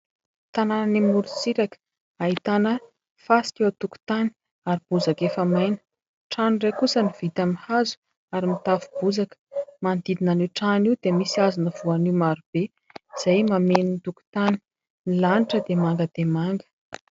Tanàna any moro-tsiraka ahitana fasika eo antokontany ary bozaka efa maina; trano iray kosa no vita mihazo ary mitafobozaka, manodidina an'io trano io dia misy hazona voanio marobe izay mameno ny tokontany. Ny lanitra dia manga dia manga